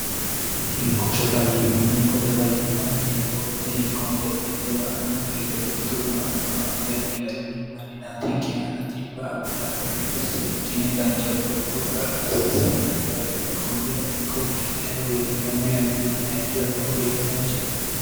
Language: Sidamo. hinkoche fayyimma hinkote fayyimma yineemmo beete hinkonke xurte ba'anno higede xurturono attono addi addi garinni manninaatinke aana xibba abbitanno higede seekkinne dancha goropho adhi hasiisannonke daafira kunnira hinkonke aye woyitino yanna yannatenni haishsira lowo geeshsa daanchatte